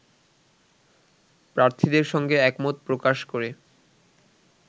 প্রার্থীদের সঙ্গে একমত প্রকাশ করে